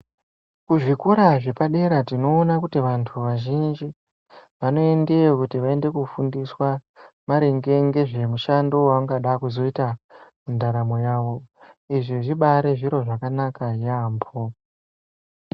Kuzvikora zvepadera tinoona kuti vantu vazhinji vanoendeyo kuti vaende kufundiswa maringe ngezve mishando yavachada kuzoita mundaramo yava izvi zvibari zviro zvakanaka yambo.